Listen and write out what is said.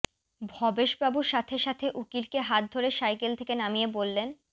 ভবেশবাবু সাথে সাথে উকিলকে হাত ধরে সাইকেল থেকে নামিয়ে বললেন